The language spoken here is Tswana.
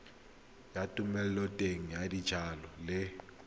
ya thomeloteng ya dijalo le